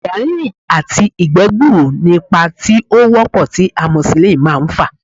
Àyà rínrìn àti ìgbẹ́ gbuuru ni ipa tí ó wọ́pọ̀ tí amosisilínì máà ń fà